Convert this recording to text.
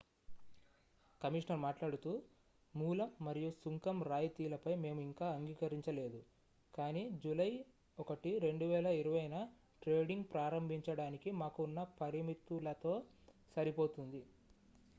"Commissioner మాట్లాడుతూ "మూలం మరియు సుంకం రాయితీలపై మేము ఇంకా అంగీకరించలేదు కానీ జూలై 1 2020న ట్రేడింగ్ ప్రారంభించడానికి మాకు ఉన్న పరిమితులతో సరిపోతుంది"".